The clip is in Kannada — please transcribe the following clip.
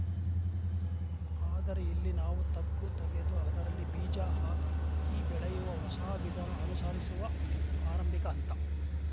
ಆದರೆ ಇಲ್ಲಿ ನಾವು ತಗ್ಗು ತಗೆದು ಅದರಲ್ಲಿ ಬೀಜ ಹಾಕಿ ಬೆಳೆಯುವ ಹೊಸ ವಿಧಾನ ಅನುಸಾರಿಸುವಾ ಆರಂಭಿಕ ಹಂತ